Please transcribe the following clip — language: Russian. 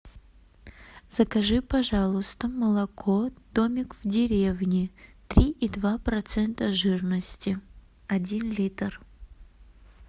закажи пожалуйста молоко домик в деревне три и два процента жирности один литр